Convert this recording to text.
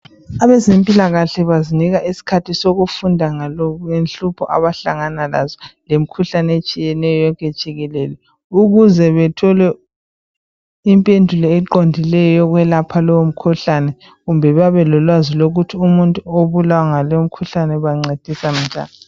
abezempilakahle bazinika isikhathi sokufunda ngenhlupho abahlangana lazo lemikhuhlane etshiyeneyo yonke jikelele ukuze bethole impendulo eqondileyo yokwelapha lowo mkhuhlane kumbe babelolwazi lokuthi umuntu obulawa yilowo umkhuhlane bamncedisa jani